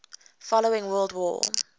following world war